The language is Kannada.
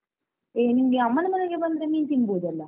ಏ ನಿಂಗೆ ಅಮ್ಮನ ಮನೆಗೆ ಬಂದ್ರೆ ಮೀನ್ ತಿಂಬೋದಲ್ಲ?